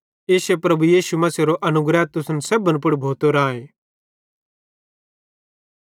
इश्शे प्रभु यीशु मसीहेरो अनुग्रह तुसन सेब्भन पुड़ भोतो राए